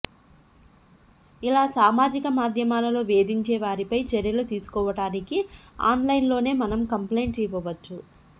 ఇలా సామాజిక మాధ్యమాలలో వేధించే వారిపై చర్యలు తీసుకోడానికి ఆన్లైన్ లోనే మనం కంప్లైంట్ ఇవ్వచ్చు